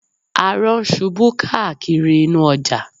Arọ ń ṣubú káàkiri inú ọjà